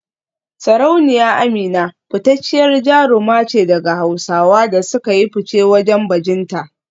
Sarauniya Amina fitacciyar jaruma ce daga Hausawa da suka yi fice wajen bajinta